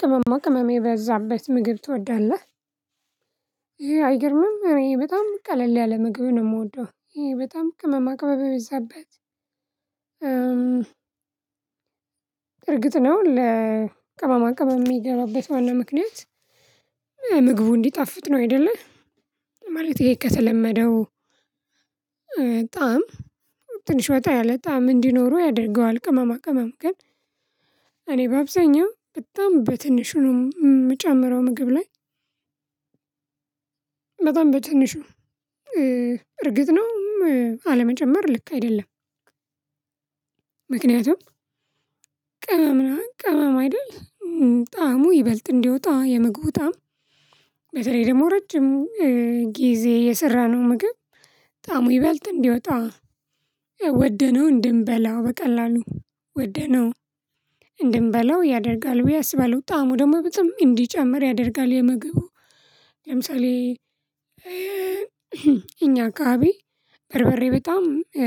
ቅመማ ቅመም የበዛበት ምግብ ትወዳለህ? ይሄ አይገርምም እኔ በጣም ቀለል ያለ ምግብ ነው የምወደው ይሄ በጣም ቅመም ቅመም የበዛበት። እርግጥ ነው ለቅመማ ቅመም የሚገባበት ዋና ምክንያት። ምግቡ እንዲጣፍጥ ነው አይደለ? ማለት ይሄ ከተለመደው በጣም ትንሽ ወጣ ያለ በጣም እንዲኖሩ ያደርገዋል ቅመማ ቅመም ግን። እኔ በአብዛኛው በጣም በትንሹ ነው የምጨምረው ምግብ ላይ። በጣም በትንሹ እርግጥ ነው አለመጨመር ልክ አይደለም። ምክንያቱም ነው ቅመም ነው ቅመም አይደል? ጣዕሙ ይበልጥ እንዲወጣ የምግቡ ጣዕም። በተለይ ደግሞ ረጅም ጊዜ የሰራነው ምግብ ጠዕሙ ይበልጥ እንዲወጣ ወደነው እንድንበላው በቀላሉ ወደነው እንድንበላው ያደርጋል። ብዬ አስበለው ጣዕሙ ደግሞ በጣም እንዲጨምር ያደርጋል። የምግቡ ለምሳሌ እኛ አከባብ በርበሬ በጣም